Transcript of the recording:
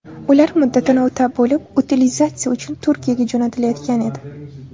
Ular muddatini o‘tab bo‘lib, utilizatsiya uchun Turkiyaga jo‘natilayotgan edi.